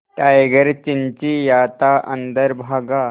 tiger चिंचिंयाता अंदर भागा